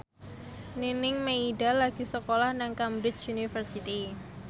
Nining Meida lagi sekolah nang Cambridge University